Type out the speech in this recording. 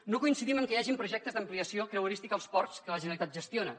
no coincidim en que hi hagin projectes d’ampliació creuerística als ports que la generalitat gestiona